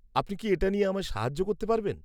আপনি কি এটা নিয়ে আমায় সাহায্য করতে পারবেন?